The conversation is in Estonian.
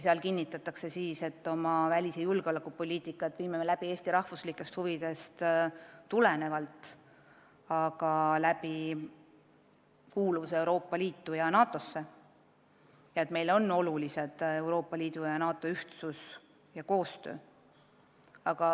Seal kinnitatakse, et meie välis- ja julgeolekupoliitika lähtub Eesti riigi huvidest, et me teostame seda, kuuludes Euroopa Liitu ja NATO-sse, ja et meile on oluline Euroopa Liidu ja NATO ühtsus ja koostöö.